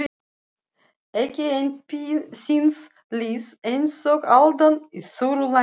Ekki einn þíns liðs einsog aldan á þurru landi.